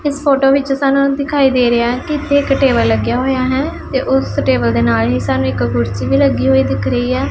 ਇਸ ਫੋਟੋ ਵਿੱਚ ਸਾਨੂੰ ਇੰਜ ਦਿਖਾਈ ਦੇ ਰਿਹਾ ਕਿ ਇੱਥੇ ਇੱਕ ਟੇਬਲ ਲੱਗਿਆ ਹੋਇਆ ਹੈ ਤੇ ਉਸ ਟੇਬਲ ਦੇ ਨਾਲ ਹੀ ਸਾਨੂੰ ਇੱਕ ਕੁਰਸੀ ਵੀ ਲੱਗੀ ਹੋਈ ਦਿਖ ਰਹੀ ਐ।